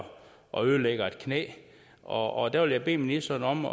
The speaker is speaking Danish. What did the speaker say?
og ødelægger et knæ og jeg vil bede ministeren om